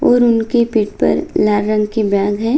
और उन के पीठ पर लाल रंग के बैग है।